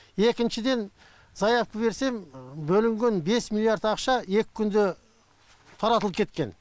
екіншіден заявка берсем бөлінген бес миллиард ақша екі күнде таратылып кеткен